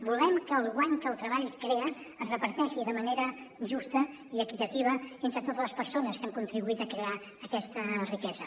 volem que el guany que el treball crea es reparteixi de manera justa i equitativa entre totes les persones que han contribuït a crear aquesta riquesa